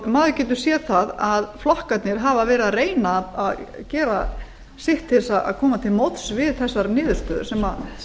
maður getur séð það að flokkarnir hafa verið að reyna að gera sitt til að koma til móts við þessar niðurstöður sem